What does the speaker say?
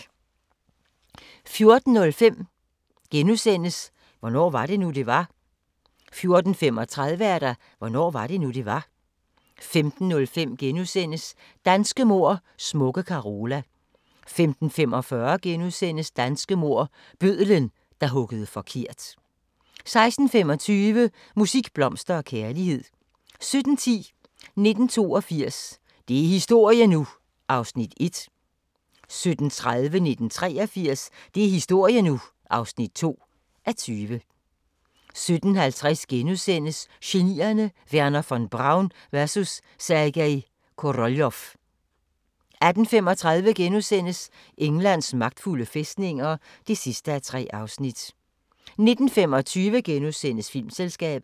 14:05: Hvornår var det nu, det var? * 14:35: Hvornår var det nu, det var? 15:05: Danske mord: Smukke Carola (3:5)* 15:45: Danske mord: Bødlen, der huggede forkert (4:5)* 16:25: Musik, blomster og kærlighed 17:10: 1982 – det er historie nu! (1:20) 17:30: 1983 – det er historie nu! (2:20) 17:50: Genierne: Wernher von Braun vs. Sergej Koroljov * 18:35: Englands magtfulde fæstninger (3:3)* 19:25: Filmselskabet *